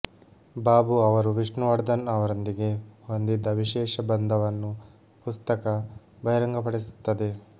ಬಾಬು ಅವರು ವಿಷ್ಣುವರ್ಧನ್ ಅವರೊಂದಿಗೆ ಹೊಂದಿದ್ದ ವಿಶೇಷ ಬಂಧವನ್ನು ಪುಸ್ತಕ ಬಹಿರಂಗಪಡಿಸುತ್ತದೆ